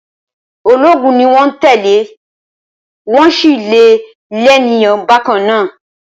Ológun ni wọ́n tẹ́lẹ̀, wọ́n sì le lénìyàn bákan náà.